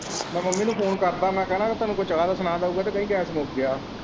ਮੈਂ ਮੰਮੀ ਨੂੰ ਫੋਨ ਕਰਦਾ ਮੈਂ ਕਹਿਣਾ ਤੈਨੂੰ ਕੋਈ ਚਾਹ ਦਾ ਸਮਾਨ ਦਉਗਾ ਤੇ ਕਹੀ ਗੈਸ ਮੁੱਕ ਗਿਆ।